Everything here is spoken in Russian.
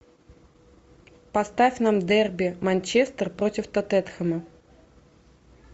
поставь нам дерби манчестер против тоттенхэма